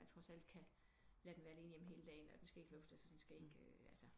Man trods alt kan lade den være alene hjemme hele dagen og den skal ikke luftes og den skal ikke øh